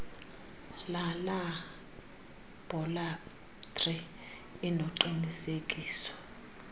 lalaa labhorathri inoqinisekiso